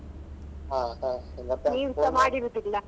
ಹಾ ಹಾ.